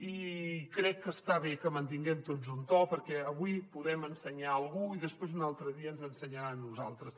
i crec que està bé que mantinguem tots un to perquè avui podem ensenyar a algú i després un altre dia ens ensenyarà a nosaltres